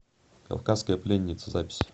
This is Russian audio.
кавказская пленница запись